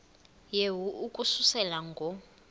yehu ukususela ngo